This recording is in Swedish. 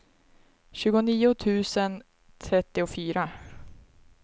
tjugonio tusen trettiofyra